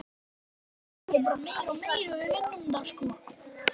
Einörð og föst fyrir.